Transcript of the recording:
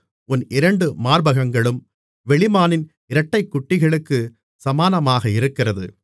உன் இரண்டு மார்பகங்களும் வெளிமானின் இரட்டைக்குட்டிகளுக்குச் சமானமாக இருக்கிறது